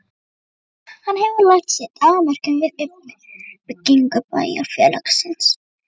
Hann hefur lagt sitt af mörkum við uppbyggingu bæjar- félagsins.